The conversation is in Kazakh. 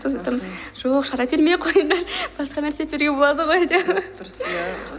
сондықтан жоқ шар әпермей ақ қойыңдар басқа нәрсе әперуге болады ғой деп дұрыс дұрыс иә